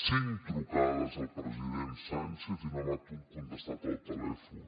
cinc trucades al president sánchez i no m’ha contestat al telèfon